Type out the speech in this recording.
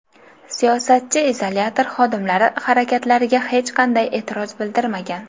Siyosatchi izolyator xodimlari harakatlariga hech qanday e’tiroz bildirmagan.